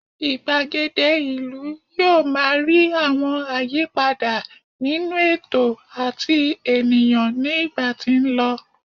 igbagede ìlú yíò ma ri àwọn àyípadà nínú ètò ati ènìyàn ní ìgbà tí n lọ